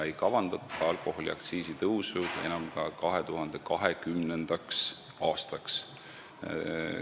Alkoholiaktsiisi tõusu ei kavandata enam ka 2020. aastaks.